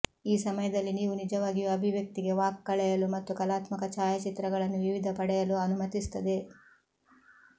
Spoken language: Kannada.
ಈ ಸಮಯದಲ್ಲಿ ನೀವು ನಿಜವಾಗಿಯೂ ಅಭಿವ್ಯಕ್ತಿಗೆ ವಾಕ್ ಕಳೆಯಲು ಮತ್ತು ಕಲಾತ್ಮಕ ಛಾಯಾಚಿತ್ರಗಳನ್ನು ವಿವಿಧ ಪಡೆಯಲು ಅನುಮತಿಸುತ್ತದೆ